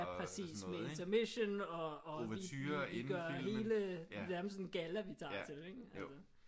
Ja præcis med intermission og vi gør hele nærmest sådan en galla vi tager til ikke altså